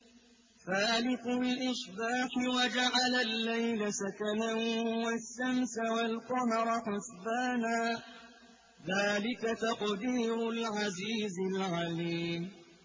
فَالِقُ الْإِصْبَاحِ وَجَعَلَ اللَّيْلَ سَكَنًا وَالشَّمْسَ وَالْقَمَرَ حُسْبَانًا ۚ ذَٰلِكَ تَقْدِيرُ الْعَزِيزِ الْعَلِيمِ